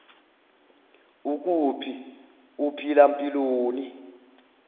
ukuphi uphila mpiloni